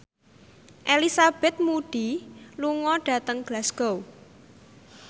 Elizabeth Moody lunga dhateng Glasgow